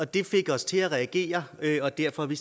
det fik os til at reagere og derfor har vi